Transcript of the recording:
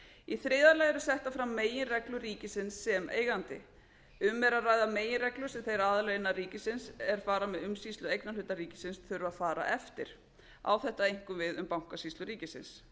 í þriðja lagi eru settar fram meginreglur ríkisins sem eigandi um er að ræða meginreglur sem þeir aðilar innan ríkisins er fara með umsýslu eignarhluta ríkisins þurfa að fara eftir á þetta einkum við um bankasýslu ríkisins